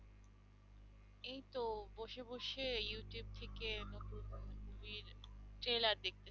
এইতো বসে বসে Youtube থেকে নতুন movie র trailer দেখতেছি।